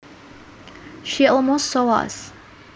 She almost saw us